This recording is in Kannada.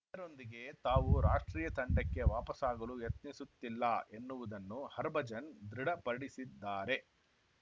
ಇದರೊಂದಿಗೆ ತಾವು ರಾಷ್ಟ್ರೀಯ ತಂಡಕ್ಕೆ ವಾಪಸಾಗಲು ಯತ್ನಿಸುತ್ತಿಲ್ಲ ಎನ್ನುವುದನ್ನು ಹರ್ಭಜನ್‌ ದೃಢಪಡಿಸಿದ್ದಾರೆ